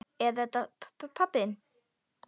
Er þetta pabbi þinn?